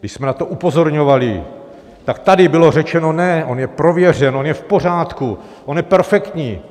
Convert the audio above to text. Když jsme na to upozorňovali, tak tady bylo řečeno, ne, on je prověřen, on je v pořádku, on je perfektní.